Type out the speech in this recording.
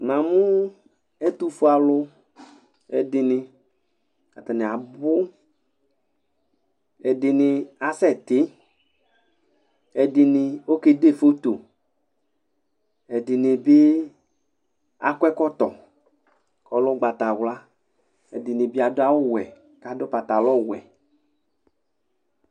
Namʋ ɛtʋfue aluɛdini atani abʋ ɛdini asɛti ɛdini akede foto ɛdini bi akɔ ɛkɔtɔ kʋ ɔlɛ ʋgbatawla ɛdini bi adʋ awʋwɛ kʋ adʋ patalɔwɛ